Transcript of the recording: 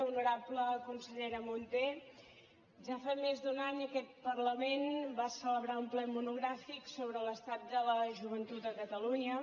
honorable consellera munté ja fa més d’un any que aquest parlament va celebrar un ple monogràfic sobre l’estat de la joventut a catalunya